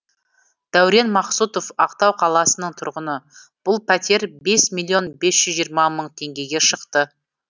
дәурен мақсұтов ақтау қаласының тұрғыны бұл пәтер бес миллион бес жүз жиырма мың теңгеге шықты